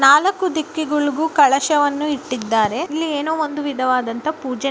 ನಾಲಕ್ಕು ದಿಕ್ಕಿಗೂಳ್ಗೂ ಕಲಶವನ್ನು ಇಟ್ಟಿದ್ದಾರೆ. ಇಲ್ಲಿ ಏನೋ ಒಂದು ವಿಧವಾದಂತ ಪೂಜೆ